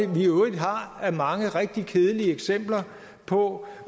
vi i øvrigt har af mange rigtig kedelige eksempler på